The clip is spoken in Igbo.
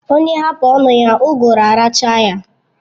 Onye hapu onu ya uguru arachaa ya